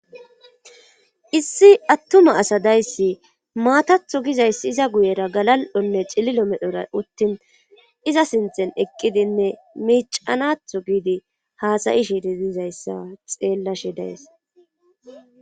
Issi attuma asadayssi maatatho gizayssi iza guyera galal7onne cililo medora uttin iza sinthen eqqidinne miicanatho giidi haasayi shidi dizayssa xeellashe days.